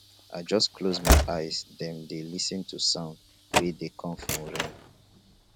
i just close my eye dem dey lis ten to sound wey dey come from rain